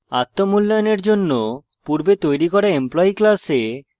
আত্ম মূল্যায়নের জন্য পূর্বে তৈরী করা employee class: